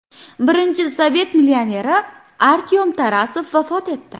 Birinchi sovet millioneri Artyom Tarasov vafot etdi.